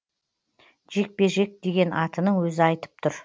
жекпе жек деген атының өзі айтып тұр